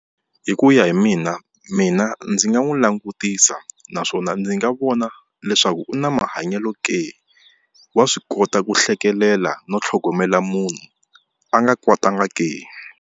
Hi ku ya hi mina mina ndzi nga n'wi langutisa naswona ndzi nga vona leswaku u na mahanyelo ke wa swi kota ku hlekelela no tlhogomela munhu a nga kwatanga ke.